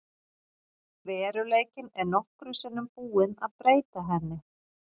Veruleikinn er nokkrum sinnum búinn að breyta henni.